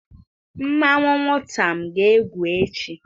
Nmanwu nwutam ga-egwu echi